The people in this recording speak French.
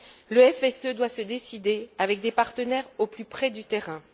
Le FSE doit se décider avec des partenaires au plus près du terrain.